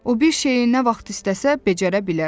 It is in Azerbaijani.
O bir şeyi nə vaxt istəsə, becərə bilər.